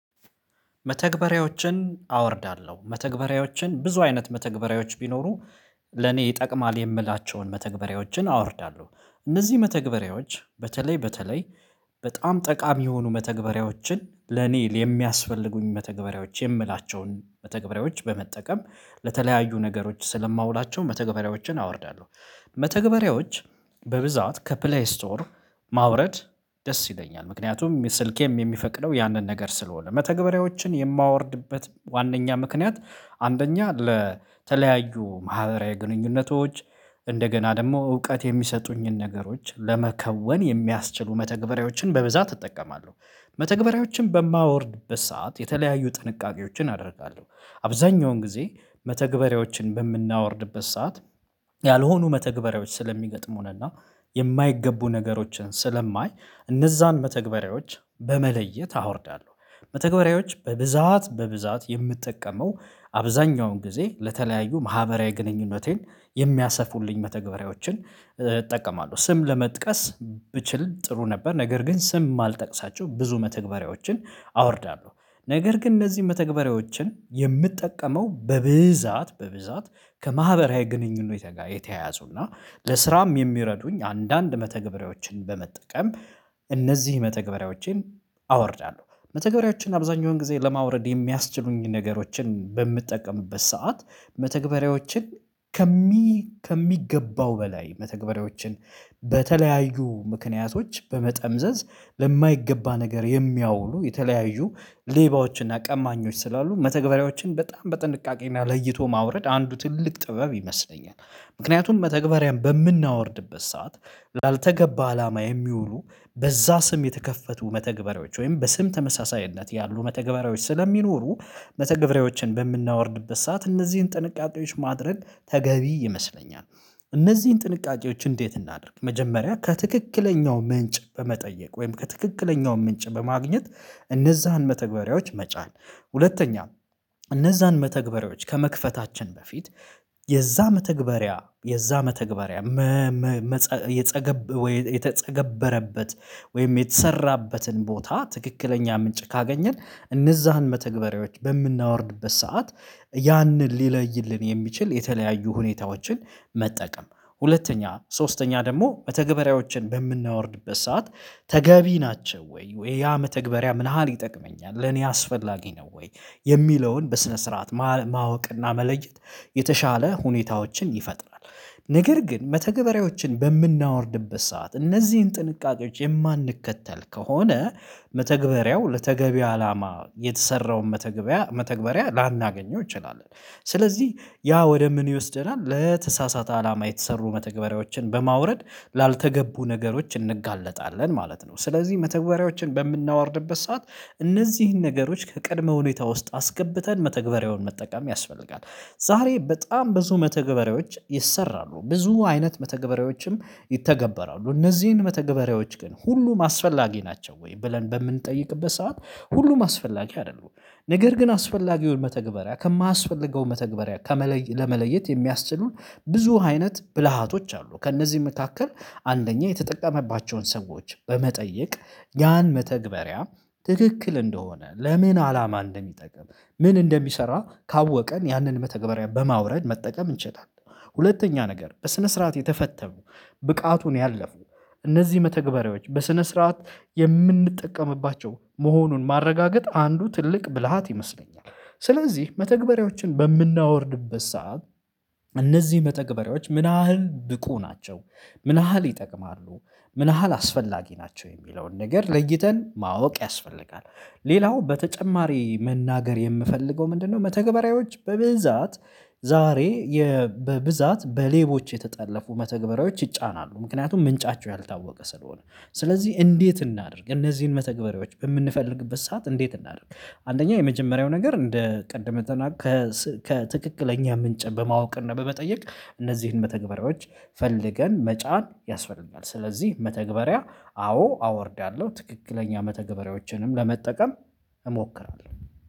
መተግበሪያዎችን አወርዳለሁ መተግበሪያዎችን ብዙ አይነት መተግበሪያዎች ቢኖሩ ለኔ ይጠቅማል የምላቸውን መተግበሪያዎችን አወርዳለሁ። እነዚህ መተግበሪያዎች በተለይ በተለይ በጣም ጠቃሚ የሆኑ መተግበሪያዎችን ለኔ የሚያስፈልጉኝ መተግበሪያዎች የምላቸውን መተግበሪያዎች በመጠቀም ለተለያዩ ነገሮች ስለማውላቸው መተግበሪያዎችን አወርዳለሁ። መተግበሪያዎች በብዛት ከፕሌይ ስቶር ማውረድ ደስ ይለኛል ምክንያቱም ስልኬም የሚፈቅደው ያንን ነገር ስለሆነ መተግበሪያዎችን የማወርድበት ዋናኛ ምክንያት። አንደኛ ለተለያዩ ማህበራዊ ግንኙነቶች እንደገና ደግሞ እውቀት የሚሰጡኝን ነገሮች ለመከወን የሚያስችሉ መተግበሪያዎችን በብዛት እጠቀማለሁ። መተግበሪያዎችን በማወርድበት ሰዓት የተለያዩ ጥንቃቄዎችን አደርጋለሁ አብዛኛውን ጊዜ መተግበሪያዎችን በምናወርድበት ሰዓት ያልሆኑ መተግበሪያዎች ስለሚገጥሙንና የማይገቡ ነገሮችን ስለማይ እነዛን መተግበሪያዎች በመለየት አወርዳለሁ። መተግበሪያዎች በብዛት የምጠቀመው አብዛኛውን ጊዜ ለተለያዩ ማህበራዊ ግንኙነቴን የሚያሰፉልኝ መተግበሪያዎችን እጠቀማለሁ። ስም ለመጥቀስ ብችል ጥሩ ነበር ነገር ግን ስም የማልጠቅሳቸው ብዙ መተግበሪያዎችን አወርዳለሁ ነገር ግን እነዚህ መተግበሪያዎችን የምጠቀመው በብዛት በብዛት ከማህበራዊ ግንኙነት ጋር የተያያዙና ለስራም የሚረዱኝ አንዳንድ መተግበሪያዎችን በመጠቀም እነዚህ መተግበሪያዎቼን አወርዳለሁ። መተግበሪያዎችን አብዛኛውን ጊዜ ለማውረድ የሚያስችሉኝን ነገሮችን በምጠቀምበት ሰዓት መተግበሪያዎችን ከሚ ከሚገባው በላይ መተግበሪያዎችን በተለያዩ ምክንያቶች በመጠምዘዝ ለማይገባ ነገር የሚያውሉ የተለያዩ ሌባዎችና ቀማኞች ስላሉ መተግበሪያዎችን በጣም በጥንቃቄና ለይቶ ማውረድ አንዱ ትልቅ ጥበብ ይመስለኛል። ምክንያቱም መተግበሪያን በምናወርድበት ሰዓት ላልተገባ አላማ የሚውሉ በዛ ስም የተከፈቱ መተግበሪያዎች ወይም በስም ተመሳሳይነት ያሉ መተግበሪያዎች ስለሚኖሩ መተግበሪያዎችን በምናወርድበት ሰዓት እነዚህን ጥንቃቄዎች ማድረግ ተገቢ ይመስለኛል። እነዚህን ጥንቃቄዎች እንዴት እናድርግ መጀመሪያ ከትክክለኛው ምንጭ በመጠየቅ ወይም ከትክክለኛው ምንጭ በማግኘት እነዛን መተግበሪያዎች መጫን። ሁለተኛም እነዛን መተግበሪያዎች ከመክፈታችን በፊት የዛ መተግበሪያ የዛ መተግበሪያ መፃ የተጸገበረበት ወይም የተሰራበትን ቦታ ትክክለኛ ምንጭ ካገኘን እነዛን መተግበሪያዎች በምናወርድበት ሰዓት ያንን ሊለይልን የሚችል የተለያዩ ሁኔታዎችን መጠቀም። ሁለተኛ ሶስተኛ ደግሞ መተግበሪያዎችን በምናወርድበት ሰዓት ተገቢ ናቸው ወይ ወይ ያ መተግበሪያ ምን ያህል ይጠቅመኛል ለኔ አስፈላጊ ነው ወይ የሚለውን በስነ ስርዓት ማወቅና መለየት የተሻለ ሁኔታዎችን ይፈጥራል። ነገር ግን መተግበሪያዎችን በምናወርድበት ሰዓት እነዚህን ጥንቃቄዎች የማንከተል ከሆነ መተግበሪያው ለተገቢ አላማ የተሰራውን መተግበያ መተግበሪያ ላናገኘው እንችላለን። ስለዚህ ያ ወደ ምን ይወስደናል ለተሳሳተ አላማ የተሰሩ መተግበሪያዎችን በማውረድ ላልተገቡ ነገሮች እንጋለጣለን ማለት ነው። ስለዚህ መተግበሪያዎችን በምናወርድበት ሰዓት እነዚህን ነገሮች ከቀድሞ ሁኔታ ውስጥ አስገብተን መተግበሪያውን መጠቀም ያስፈልጋል። ዛሬ በጣም ብዙ መተገበሪያዎች ይሰራሉ ብዙ አይነት መተገበሪያዎችም ይተገበራሉ እነዚህን መተገበሪያዎች ግን ሁሉም አስፈላጊ ናቸው ወይ ብለን በምንጠይቅበት ሰዓት ሁሉም አስፈላጊ አይደለም። ነገር ግን አስፈላጊውን መተግበሪያ ከማያስፈልገውን መተግበሪያ ከመለየት ለመለየት የሚያስችሉን ብዙ አይነት ብልሃቶች አሉ ከእነዚህ መካከል አንደኛ የተጠቀመባቸውን ሰዎች በመጠየቅ ያን መተግበሪያ ትክክል እንደሆነ ለምን አላማ እንደሚጠቅም ምን እንደሚሰራ ካወቅን ያንን መተግበሪያ በማውረድ መጠቀም እንችላለን። ሁለተኛ ነገር በስነ ስርዓት የተፈተኑ ብቃቱን ያለፉ እነዚህ መተግበሪያዎች በስነ ስርዓት የምንጠቀምባቸው መሆኑን ማረጋገጥ አንዱ ትልቅ ብልሃት ይመስለኛል። ስለዚህ መተግበሪያዎችን በምናወርድበት ሰዓት እነዚህ መተግበሪያዎች ምን ያህል ብቁ ናቸው ምን ያህል ይጠቅማሉ ምን ያህል አስፈላጊ ናቸው የሚለውን ነገር ለይተን ማወቅ ያስፈልጋል። ሌላው በተጨማሪ መናገር የምፈልገው ምንድነው መተግበሪያዎች በብዛት ዛሬ የ በብዛት በሌቦች የተጠለፉ መተግበሪያዎች ይጫናሉ ምክንያቱም ምንጫቸው ያልታወቀ ስለሆነ ስለዚህ እንዴት እናድርግ እነዚህን መተግበሪዎች በምንፈልግበት ሰዓት እንዴት እናድርግ? አንደኛ የመጀመሪያው ነገር እንደ ቅድም እንደተናገ ከትክክለኛ ምንጭ በማወቅና በመጠየቅ እነዚህን መተግበሪያዎች ፈልገን መጫን ያስፈልገናል። ስለዚህ መተግበሪያ አዎ አወርዳለሁ ትክክለኛ መተግበሪያዎችንም ለመጠቀም እሞክራለሁ